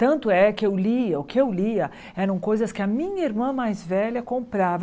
Tanto é que eu lia, o que eu lia eram coisas que a minha irmã mais velha comprava.